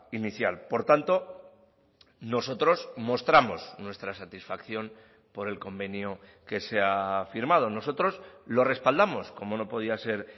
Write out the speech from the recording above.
inicial por tanto nosotros mostramos nuestra satisfacción por el convenio que se ha firmado nosotros lo respaldamos como no podía ser